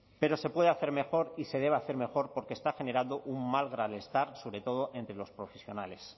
pero se puede hacer mejor y se debe hacer mejor porque está generando un gran malestar sobre todo entre los profesionales